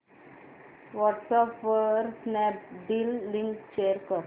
WhatsApp वर Snapdeal link share कर